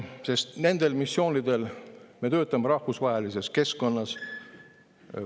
Sest nendel missioonidel me töötame rahvusvahelises keskkonnas.